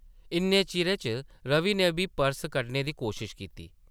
इन्ने चिरै च रवि नै बी पर्स कड्ढने दी कोशश कीती ।